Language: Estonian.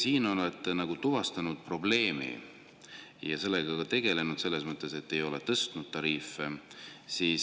Te olete nagu probleemi tuvastanud ja sellega ka tegelenud selles mõttes, et ei ole tõstnud.